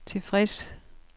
tilfreds